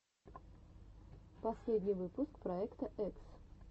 последний выпуск проекта экс